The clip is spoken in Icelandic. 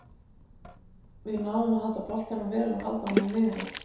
Við náðum að halda boltanum vel og halda honum niðri.